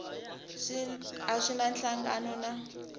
a swi na nhlangano na